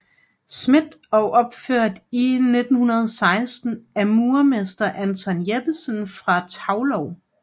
Schmidt og opført i 1916 af murermester Anton Jeppesen fra Taulov